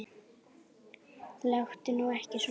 Láttu nú ekki svona